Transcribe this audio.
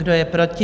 Kdo je proti?